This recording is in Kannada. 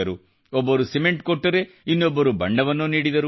ಒಬ್ಬರು ಸಿಮೆಂಟ್ ಕೊಟ್ಟರೆ ಇನ್ನೊಬ್ಬರು ಬಣ್ಣವನ್ನು ನೀಡಿದರು